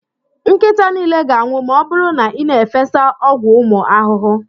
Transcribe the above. Nkịta niile ga-anwụ ma ọ bụrụ na ị na-efesa igbu ụmụ ahụhụ.